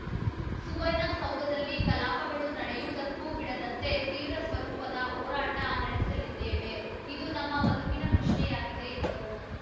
ಸುವರ್ಣ ಸೌಧದಲ್ಲಿ ಕಲಾಪಗಳು ನಡೆಯುವುದಕ್ಕೂ ಬಿಡದಂತೆ ತೀವ್ರ ಸ್ವರೂಪದ ಹೋರಾಟ ನಡೆಸಲಿದ್ದೇವೆ ಇದು ನಮ್ಮ ಬದುಕಿನ ಪ್ರಶ್ನೆಯಾಗಿದೆ ಎಂದರು